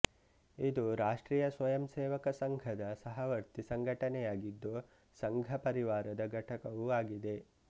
ಇದು ರಾಷ್ಟ್ರೀಯ ಸ್ವಯಂಸೇವಕ ಸಂಘದ ಸಹವರ್ತಿ ಸಂಘಟನೆಯಾಗಿದ್ದು ಸಂಘಪರಿವಾರದ ಘಟಕವೂ ಆಗಿದೆ